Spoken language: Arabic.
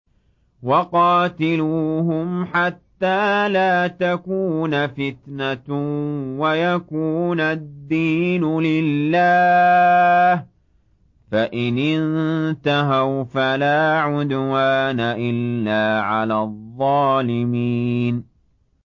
وَقَاتِلُوهُمْ حَتَّىٰ لَا تَكُونَ فِتْنَةٌ وَيَكُونَ الدِّينُ لِلَّهِ ۖ فَإِنِ انتَهَوْا فَلَا عُدْوَانَ إِلَّا عَلَى الظَّالِمِينَ